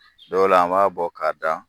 Dɔw la an b'a bɔ ka da.